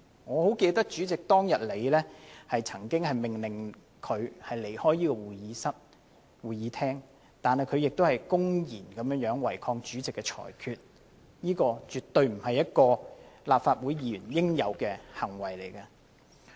我很記得主席當天曾經命令他離開會議廳，但他公然違抗主席的裁決，這絕對不是立法會議員應有的行為。